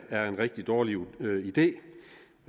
er en rigtig dårlig idé